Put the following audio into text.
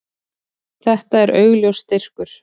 Þetta er augljós styrkur.